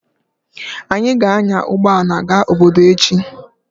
Anyị ga-anya ụgbọ ala gaa obodo echi.